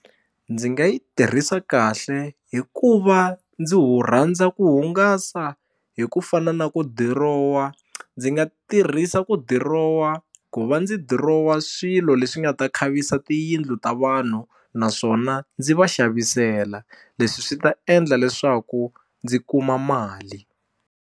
Ndzi nga yi tirhisa kahle hikuva ndzi wu rhandza ku hungasa hi ku fana na ku dirowa ndzi nga tirhisa ku dirowa ku va ndzi dirowa swilo leswi nga ta khavisa tiyindlu ta vanhu naswona ndzi va xavisela leswi swi ta endla leswaku ndzi kuma mali.